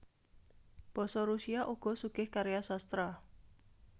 Basa Rusia uga sugih karya sastra